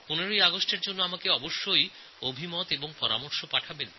১৫ই অগাস্টের জন্য আপনাদের পরামর্শ অবশ্যই পাঠান